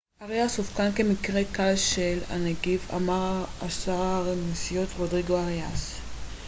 אריאס אובחן כמקרה קל של הנגיף אמר השר הנשיאותי רודריגו אריאס